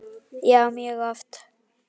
Já, mjög oft.